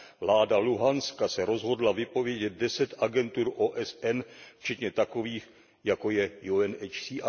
vláda Luhanska se rozhodla vypovědět deset agentur OSN, včetně takových, jako je UNHCR.